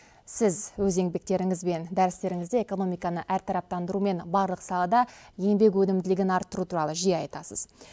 сіз өз еңбектеріңіз бен дәрістеріңізде экономиканы әртараптандыру мен барлық салада еңбек өнімділігін арттыру туралы жиі айтасыз